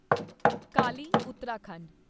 Kali Uttarakhand